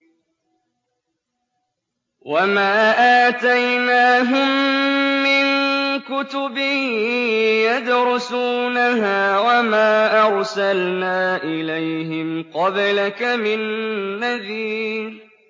وَمَا آتَيْنَاهُم مِّن كُتُبٍ يَدْرُسُونَهَا ۖ وَمَا أَرْسَلْنَا إِلَيْهِمْ قَبْلَكَ مِن نَّذِيرٍ